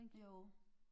Jo